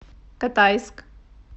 катайск